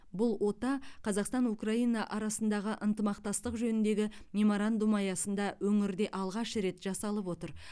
бұл ота қазақстан украина арасындағы ынтымақтастық жөніндегі меморандум аясында өңірде алғаш рет жасалып отыр